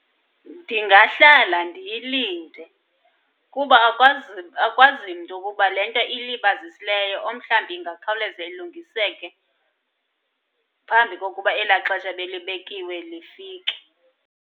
Ndingahlala ndiyilinde kuba akwazi, akwazi mntu ukuba le nto ilibazisileyo omhlawumbi ingakhawuleza ilungiseke phambi kokuba elaa xesha ebelibekiwe lifike.